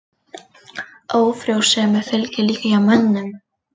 Ófrjósemi fylgir líka hjá mönnum.